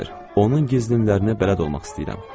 Onun gizlinlərinə bələd olmaq istəyirdim.